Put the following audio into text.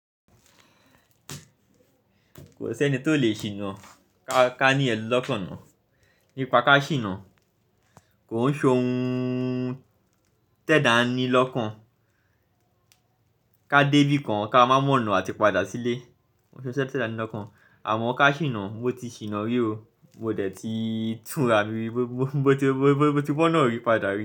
Kò sí ẹni tó lè ṣìnà ká ní iyen lọ́kàn náà. Nípa ká ṣìnà, kò ń ṣohun tẹ́da ni lọ́kàn. Ka dé ibi kan, ká má mọ̀ ọ̀nà àti padà sílé. Kò ń ṣiṣẹ́ tẹ́da ni lọ́kàn. Àmọ́ ká ṣìnà, mo ti ṣìnà rí o, mo dẹ̀ ti túnra mi, mo ti gbọ́ náà rí padà rí.